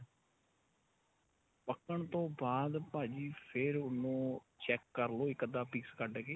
ਪੱਕਣ ਤੋ ਬਾਅਦ ਭਾਜੀ ਫੇਰ ਉਹਨੂੰ check ਕਰਲੋ ਇੱਕ ਅੱਧਾ piece ਕੱਢ ਕੇ